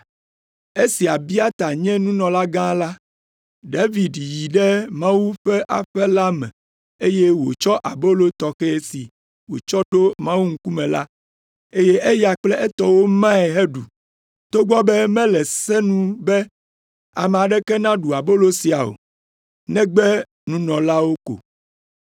Esi Abiata nye nunɔlagã la, David yi ɖe Mawu ƒe aƒe la me eye wòtsɔ abolo tɔxɛ si wotsɔ ɖo Mawu ŋkume la, eye eya kple etɔwo mae heɖu, togbɔ be mele se nu be ame aɖeke naɖu abolo sia o, negbe nunɔlawo ko.”